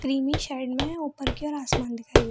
creamy shade में है ऊपर की ओर आसमान दिखाई --